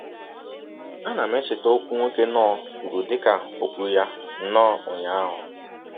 Ana m echeta ọkwụ nwoke Knorr kwuru dị ka ò kwụrụ ya nnọọ ụnyaahụ.